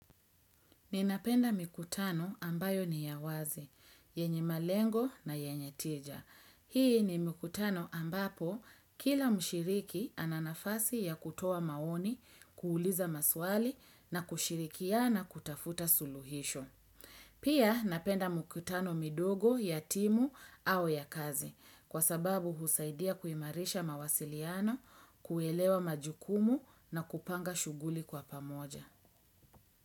Ninapenda mikutano ambayo ni ya wazi, yenye malengo na yenye tija. Hii ni mikutano ambapo kila mshiriki ananafasi ya kutoa maoni, kuuliza maswali na kushirikiana kutafuta suluhisho. Pia napenda mikutano midogo ya timu au ya kazi kwa sababu husaidia kuimarisha mawasiliano, kuelewa majukumu na kupanga shughuli kwa pamoja.